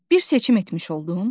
Bir seçim etmiş oldum.